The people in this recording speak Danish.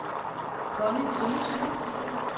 Conny Tønnesen